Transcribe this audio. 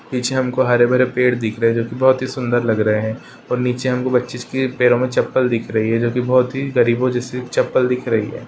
पीछे हमको हरे भरे पेड़ दिख रहे है जोकि बहुत ही सुंदर लग रहे है और नीचे हमको बच्चे के पैरों में चप्पल दिख रही है जोकि बहुत ही गरीबो जैसी चप्पल दिख रही है।